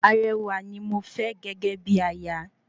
Arewà ní mofẹ́ gégé bíi aya